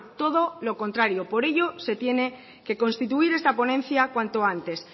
todo lo contrario por ello se tiene que constituir esta ponencia cuanto antes